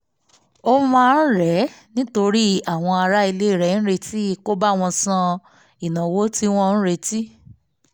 ó máa ń rẹ̀ ẹ́ nítorí àwọn ará ilé rẹ̀ retí kó bá wọn san ìnáwó tí wọn ò retí